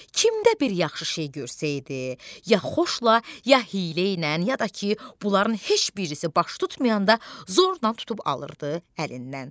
Kimdə bir yaxşı şey görsəydi, ya xoşla, ya hiylə ilə, ya da ki, bunların heç birisi baş tutmayanda zorla tutub alırdı əlindən.